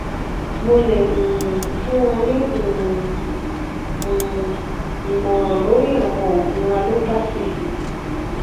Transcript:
mo le um fun ọ ni um um imọran lori awọn oogun alopathy